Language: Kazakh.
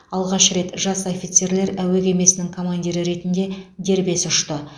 алғаш рет жас офицерлер әуе кемесінің командирі ретінде дербес ұшты